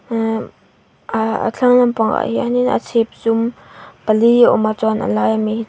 ehh ahh a thlang lampang ah hian in a chhip zum pali a awm a chuan a lai ami--